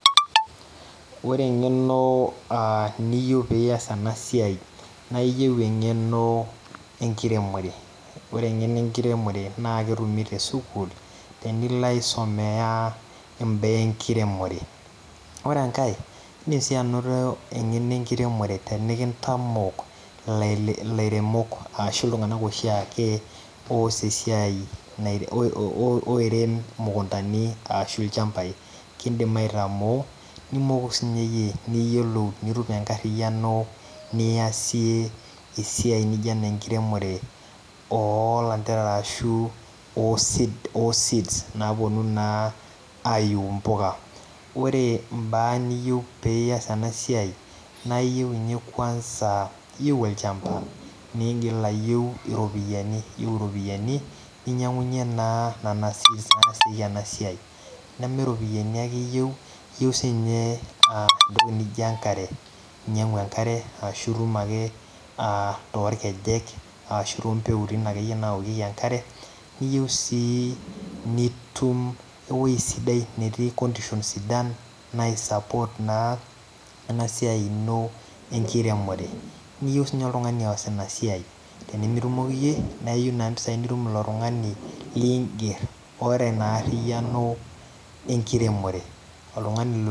Ore eng'eno aa niyieu pee ias ena siai naa iyieu eng'eno enkiremore ore eng'eno enkiremore naa etumi tesukuul tenilo aisumia imbaa enkiremore, ore enkae naa iindim sii anoto eng'eno enkiremore tenikintamok ilairemok iltung'anak oshiake oos esiai oirem imukundani ashu ilchambai kiidim aitamoo nimoku siinye iyie niyiolou nitum enkarriyiano niasie esiai nijio ena enkiremore oolanterera ashu oo seeds naaponu naa aaiu impuka, ore imbaa niyieu pee ias ena siai naa iyieu inye kwanza aa iyieu olchamba niigil ayieu iropiyiani iyieu iropiyiani ninyiang'unyie naa nena seeds naasieki ena siai neme iropiyiani ake iyieu, iyieu siinye entoki naa ijo enkare inyiang'u enkare aashu itum ake aa torkejek ashu toompeutin ake naaokieki enkare keyieu sii nitum ewuei sidai netii conditions sidan naisupport naa ena siai ino enkiremore niyieu siinye oltung'ani oos ina siai tenemetumoki iyie naa iyieu naa impisaai nitum ilo tung'ani liingerr oota ina aariyiano enkiremore oltung'ani..